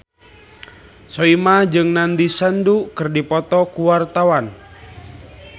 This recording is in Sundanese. Soimah jeung Nandish Sandhu keur dipoto ku wartawan